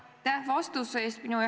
Aitäh vastuse eest!